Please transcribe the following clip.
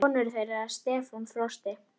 Ugla getur átt við um